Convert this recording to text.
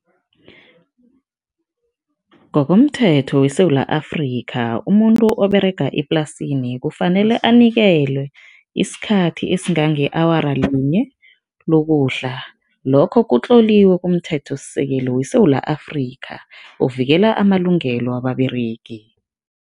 Ngokomthetho weSewula Afrika, umuntu oberega eplasini kufanele anikelwe isikhathi esingange-awara linye lokudla, lokho kutloliwe kumthethosisekelo weSewula Afrika ovikela amalungelo wababeregi.